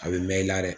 A bɛ mɛn i la dɛ